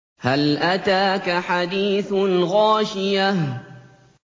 هَلْ أَتَاكَ حَدِيثُ الْغَاشِيَةِ